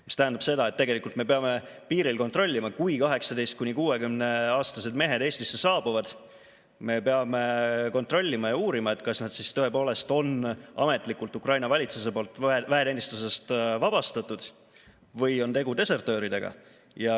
See tähendab seda, et kui 18–60‑aastased mehed Eestisse saabuvad, siis me peame piiril kontrollima ja uurima, kas nad tõepoolest on ametlikult Ukraina valitsuse poolt väeteenistusest vabastatud või on tegu desertööridega.